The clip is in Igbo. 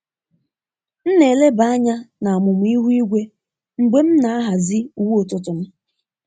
M na-eleba anya na amụma ihu igwe mgbe m na-ahazi uwe ụtụtụ m.